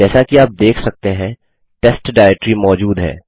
जैसा कि आप देख सकते हैं टेस्ट डाइरेक्टरी मौजूद है